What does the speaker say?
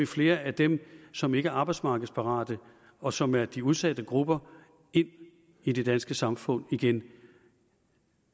flere af dem som ikke er arbejdsmarkedsparate og som er i de udsatte grupper ind i det danske samfund igen